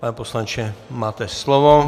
Pane poslanče, máte slovo.